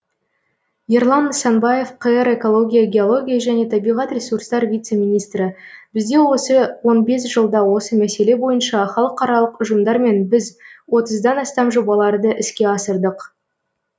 ерлан нысанбаев қр экология геология және табиғат ресурстар вице министрі бізде осы он бес жылда осы мәселе бойынша халықаралық ұжымдармен біз отыздан астам жобаларды іске асырдық